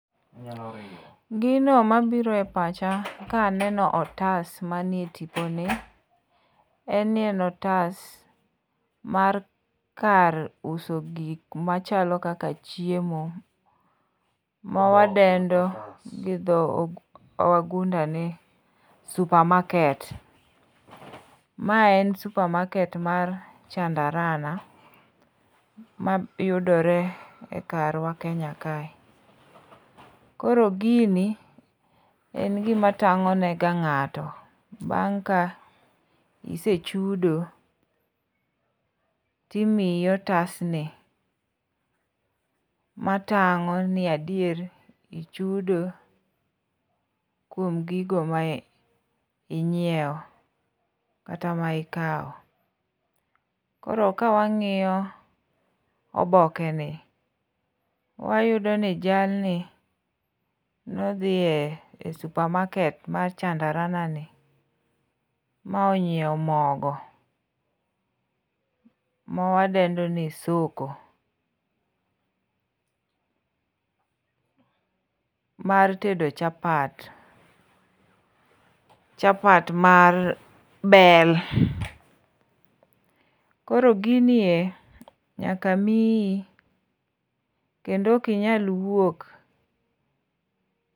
Gino mabiro e pacha kaneno otas manie tiponi en ni ne otas mar kar uso gik machalo kaka chiemo, mawadendo gi dho wagunda ni supermarket. Ma en supermarket mar Chandarana, mayudore karwa Kenya kae, koro gini en gima tang'o nega ng'ato bang' ka isechudo, timiyi otasni, matang'o ni adier ichudo kuom gigo ma inyiewo, kata ma ikawo. Koro kawang'iyo obokeni, wayudoni jalni nodhi e supermarket mar Chandaranani ma onyiewo mogo mawadendo ni Soko, mar tedo chapat, chapat mar bel. Koro gini e nyaka miyi kendo ok inyal wuok .